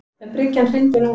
Ef bryggjan hryndi núna.